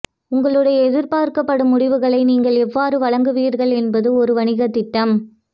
உங்களுடைய எதிர்பார்க்கப்படும் முடிவுகளை நீங்கள் எவ்வாறு வழங்குவீர்கள் என்பது ஒரு வணிகத் திட்டம்